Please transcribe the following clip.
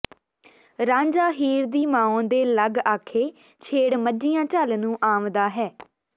ਰਾਂਝਾ ਹੀਰ ਦੀ ਮਾਉਂ ਦੇ ਲਗ ਆਖੇ ਛੇੜ ਮੱਝੀਆਂ ਝਲ ਨੂੰ ਆਂਵਦਾ ਹੈ